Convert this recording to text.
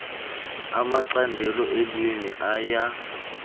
amacandelo eelwimi aya